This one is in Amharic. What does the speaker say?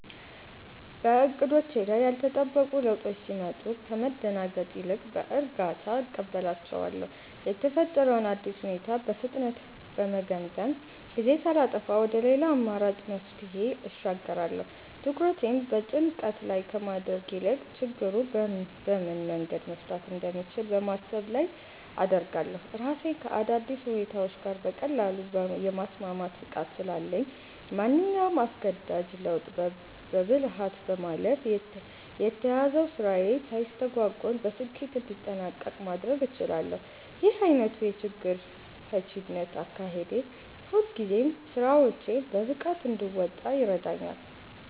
በዕቅዶቼ ላይ ያልተጠበቁ ለውጦች ሲመጡ ከመደናገጥ ይልቅ በእርጋታ እቀበላቸዋለሁ። የተፈጠረውን አዲስ ሁኔታ በፍጥነት በመገምገም፣ ጊዜ ሳላጠፋ ወደ ሌላ አማራጭ መፍትሄ እሸጋገራለሁ። ትኩረቴን በጭንቀት ላይ ከማድረግ ይልቅ ችግሩን በምን መንገድ መፍታት እንደምችል በማሰብ ላይ አደርጋለሁ። ራሴን ከአዳዲስ ሁኔታዎች ጋር በቀላሉ የማስማማት ብቃት ስላለኝ፣ ማንኛውንም አስገዳጅ ለውጥ በብልሃት በማለፍ የተያዘው ስራዬ ሳይስተጓጎል በስኬት እንዲጠናቀቅ ማድረግ እችላለሁ። ይህ ዓይነቱ የችግር ፈቺነት አካሄዴ ሁልጊዜም ስራዎቼን በብቃት እንድወጣ ይረዳኛል።